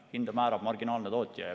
Hinda määrab marginaalne tootja.